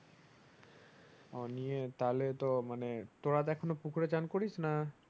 ও নিয়ে তাহলে তো মানে তোরা তো এখন ও পুকুরে চান করিসনা?